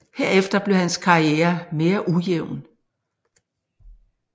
Herefter blev hans karriere mere ujævn